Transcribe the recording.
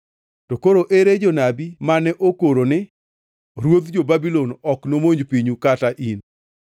To koro ere jonabi mane okoroni ni, ‘Ruodh jo-Babulon ok nomonj pinyu kata in?’